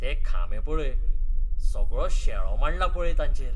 ते खांबे पळय, सगळो शेळो मांडला पळय तांचेर.